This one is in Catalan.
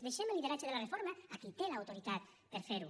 deixem el lideratge de la reforma a qui té l’autoritat per a fer ho